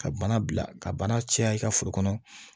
Ka bana bila ka bana caya i ka foro kɔnɔ